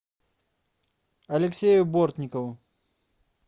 алексею бортникову